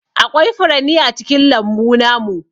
Aƙwai furanni a cikin lambu namu.